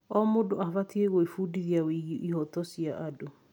O mũndũ abatiĩ gwĩbundithia wĩgiĩ ihooto cia andũ.